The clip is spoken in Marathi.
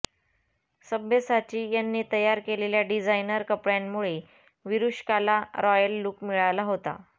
सब्यसाची यांनी तयार केलेल्या डिझाइनर कपड्यांमुळे विरुष्काला रॉयल लुक मिळाला होता